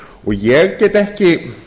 ég get ekki